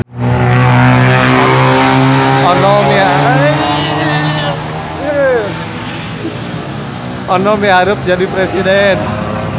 Ono miharep jadi presiden